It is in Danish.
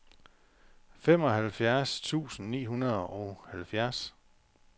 femoghalvfjerds tusind ni hundrede og halvfjerds